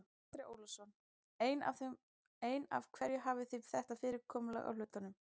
Andri Ólafsson: En af hverju hafið þið þetta fyrirkomulag á hlutunum?